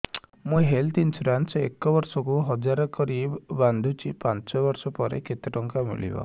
ମୁ health insurance ଏକ ବର୍ଷକୁ ହଜାର କରି ବାନ୍ଧୁଛି ପାଞ୍ଚ ବର୍ଷ ପରେ କେତେ ଟଙ୍କା ମିଳିବ